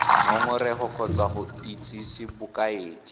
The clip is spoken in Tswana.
ngongorego kgotsa go itsise bokaedi